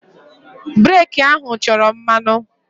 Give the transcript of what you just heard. Breeki ahụ chọrọ mmanụ.